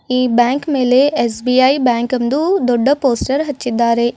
ಈ ಬ್ಯಾಂಕ್ ಮೇಲೆ SBI bank ಎಂದು ದೊಡ್ಡ ಪೋಸ್ಟರ್ ಹಚ್ಚಿದ್ದಾರೆ.